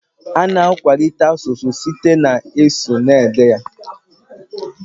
Ana akwalite asụsụ site na ịsụ na ede ya ede